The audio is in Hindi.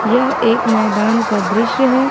यह एक मैदान का दृश्य है।